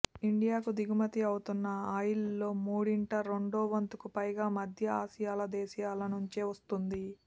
ఇండియాకు దిగుమతి అవుతున్న ఆయిల్లో మూడింట రెండో వంతుకు పైగా మధ్య ఆసియాల దేశాల నుంచే వస్తోంది